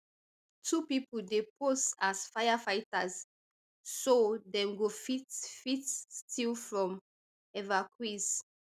two pipo dey pose as firefighters so dem go fit fit steal from evacuees